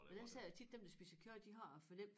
Men jeg siger jo tit dem der spiser kød de har det for nemt